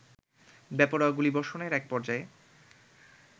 বেপরোয়া গুলিবষর্ণের এক পর্যায়ে